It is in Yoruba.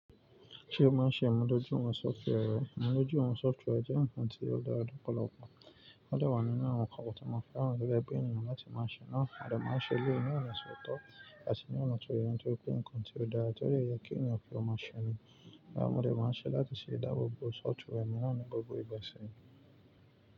Ṣé o máa ń ṣe ìmúdójúwọ̀n software? Ìmúdójúwọ̀n software jẹ́ ǹkan tí ó dára lọ́pọ̀lọpọ̀. Ó dẹ̀ wà nínú àwọn nkan kan tí mo fẹ́ràn gẹ́gẹ́ bí ènìyàn láti máa ṣe náà. A dẹ̀ máa n ṣe eléyìí ní ọ̀nà tó tọ́ àti ní ọ̀nà tó yẹ ń torí pé ǹkan tí ó dára, tó dẹ̀ yẹ kí ènìyàn kí ó máa ṣe ni. Mọ̀ dẹ̀ máa ń ṣe láti ṣe ìdáàbò bo software mi náà ní gbogbo ìgbà sì ni.